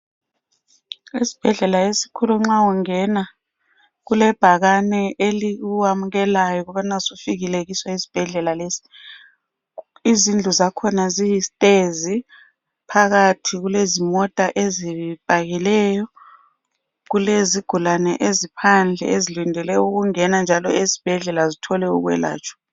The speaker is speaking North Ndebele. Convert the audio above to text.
Esibhedlela esikhulu nxa ungena, kulebhakani e elikwamukelayo ukuthi usufikile esibhedlela. Lezindlu zakhona ziyisitezi. Phakathi kulezimota ezipakileyo. Kulezigulane eziphandle, ezilindele ukungena njalo esibhedlela. Zithole ukwelatshwa